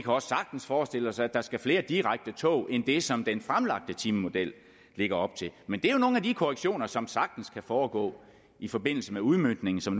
også sagtens forestille os at der skal flere direkte tog end det som den fremlagte timemodel lægger op til men det er jo nogle af de korrektioner som sagtens kan foregå i forbindelse med udmøntningen som